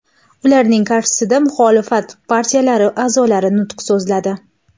Ularning qarshisida muxolifat partiyalari a’zolari nutq so‘zladi.